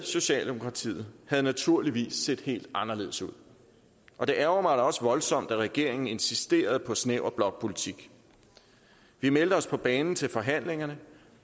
socialdemokratiet havde naturligvis set helt anderledes ud og det ærgrer også voldsomt at regeringen insisterede på snæver blokpolitik vi meldte os på banen til forhandlingerne